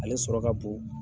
Ale sɔrɔ ka bon.